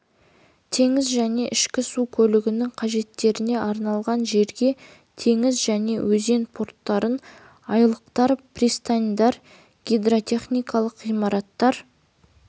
теңіз және ішкі су көлігінің қажеттеріне арналған жерге теңіз және өзен порттарын айлақтар пристаньдар гидротехникалық ғимараттар